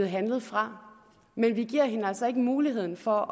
handlet fra men vi giver hende altså ikke mulighed for